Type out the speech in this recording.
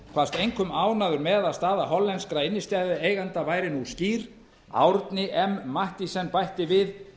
kvaðst einkum ánægður með að að staða hollenskra innstæðueiganda væri nú skýr árni m mathiesen bætti við